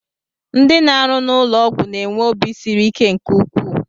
Ndị na-arụ n'ụlọọgwụ na-enwe obi siri ike nke ukwuu